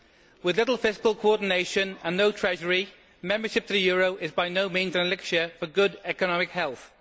With little fiscal coordination and no treasury, membership of the euro is by no means an elixir for good economic health.